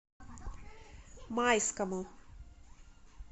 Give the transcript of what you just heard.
майскому